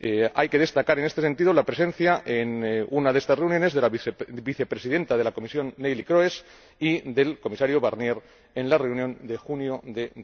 Hay que destacar, en este sentido, la presencia en una de estas reuniones de la Vicepresidenta de la Comisión, Neelie Kroes, y la del Comisario Barnier, en la reunión de junio de